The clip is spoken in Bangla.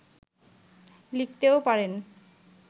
লিখতেও পারেন